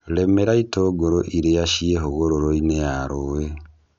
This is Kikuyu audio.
Rĩmĩra itũngũrũ iria ciĩ hũgũrũinĩ ya rũĩ.